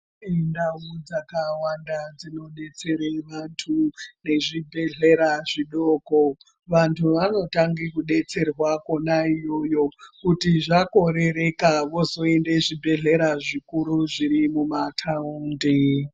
Ndawu dzakawanda dzinodetsere vantu ngezvibhedlera zvidoko, vantu vanotangi kudetserwa kuna iyoyo. Kuti zvakorereka vozoyende kuzvibhedleya zvikuru zvirimuma tawundi.